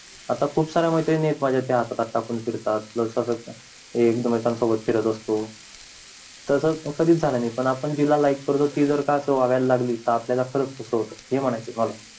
आता खूप साऱ्या मैत्रिणी आहेत माझ्या ज्या हातात हात टाकून फिरतात एक मकान सोबत फिरत असतो तस कधी च झालं नई पण पण आपण जिला like करतो ती जर असं वागायला लागली त आपल्याला पण तस होत